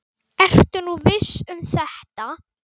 Ertu nú viss um þetta?